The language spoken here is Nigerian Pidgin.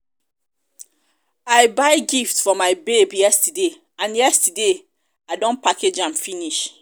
i buy gift for my babe yesterday and yesterday i don package am finish